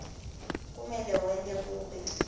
kumele wente kube